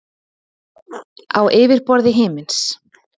Á yfirborði himins.